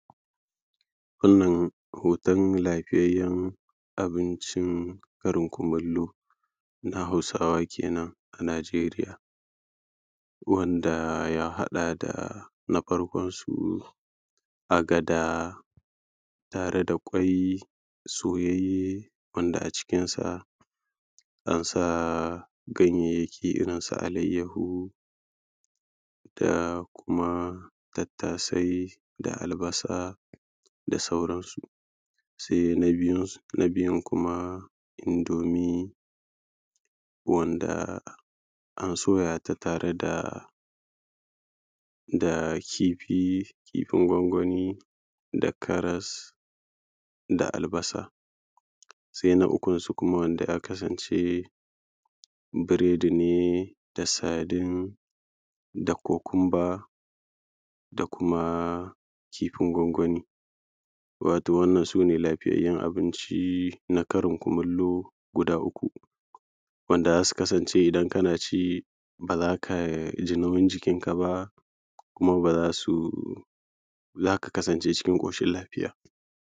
wannan hoton la:fiyayyen abincin karin kumallo na hausawa kenan a nigeria wanda ya haɗa da na farkonsu agada tare da ƙwai soyayye wanda a cikinsa an sa ganyayyaki irin su alayyaho da kuma tattasai da albasa da sauransu sai na biyunsu na biyun kuma indomie wanda an soya ta tare da da kifi kifin gwangwani da karas da albasa sai na ukunsu kuma wanda a kasance biredi ne da sardine da cucumber da kuma kifin gwangwani wato wannan su ne lafiyayyun abinci na karin kumallo guda uku wanda za su kasance idan kana ci ba za ka ji nauyin jikinka ba kuma ba za su za ka kasance cikin ƙoshin lafiya